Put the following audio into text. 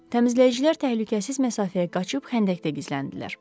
Təmizləyicilər təhlükəsiz məsafəyə qaçıb xəndəkdə gizləndilər.